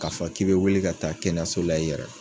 K'a fɔ k'i bɛ wuli ka taa kɛyaso la i yɛrɛ